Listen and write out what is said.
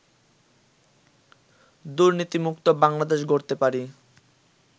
দুর্নীতিমুক্ত বাংলাদেশ গড়তে পারি